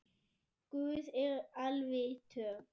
Guð er alvitur